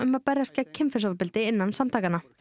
að berjast gegn kynferðisofbeldi innan samtakanna